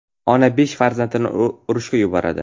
Ona besh farzandini urushga yuboradi.